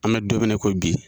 An bɛ don minna i ko bi.